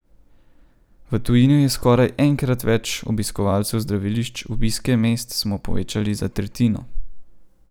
V tujini je skoraj enkrat več obiskov zdravilišč, obiske mest smo povečali za tretjino.